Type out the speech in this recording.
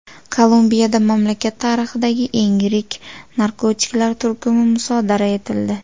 Kolumbiyada mamlakat tarixidagi eng yirik narkotiklar turkumi musodara etildi.